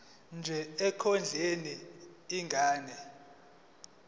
nje ekondleni ingane